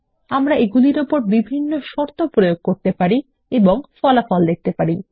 আমরা এগুলির উপর বিভিন্ন শর্ত প্রয়োগ করতে পারি এবং ফলাফল দেখতে পারি